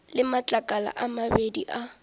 le matlakala a mabedi a